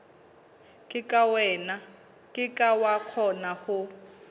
ke ke wa kgona ho